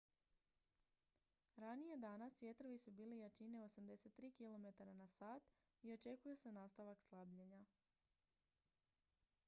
ranije danas vjetrovi su bili jačine 83 km/h i očekuje se nastavak slabljenja